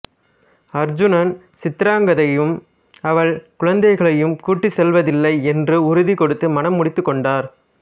அர்ஜுனன் சித்திராங்கதையையும் அவள் குழந்தைகளையும் கூட்டிச் செல்வதில்லை என்று உறுதி கொடுத்து மணமுடித்துக் கொண்டார்